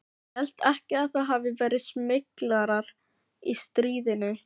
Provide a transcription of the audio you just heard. Ég held ekki að það hafi verið smyglarar í stríðinu.